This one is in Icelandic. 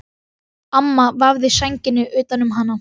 Amma vafði sænginni utan um hana.